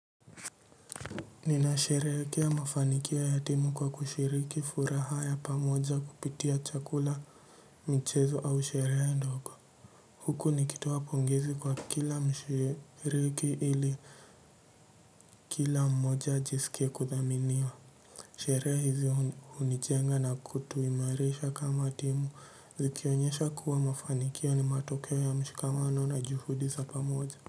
Nina sherehekea mafanikio ya timu kwa kushiriki furaha ya pamoja kupitia chakula mchezo au sherehe ndogo. Huku nikitoa pongezi kwa kila mshiriki ili kila mmoja ajisike kudhaminiwa. Sherehe hizi hunijenga na kutuimarisha kama timu zikionyesha kuwa mafanikio ni matokeo ya mshikamano na juhudi za pamoja.